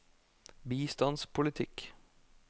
bistandspolitikk